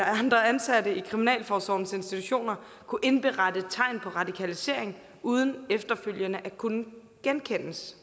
andre ansatte i kriminalforsorgens institutioner kunne indberette tegn på radikalisering uden efterfølgende at kunne genkendes